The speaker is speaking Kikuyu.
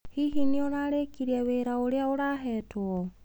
Hihi nĩ ũrarĩkirie wĩra ũrĩa ũrahetwo?